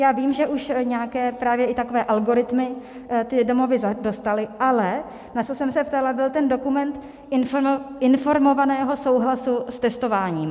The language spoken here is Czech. Já vím, že už nějaké právě i takové algoritmy ty domovy dostaly, ale na co jsem se ptala, byl ten dokument informovaného souhlasu s testováním.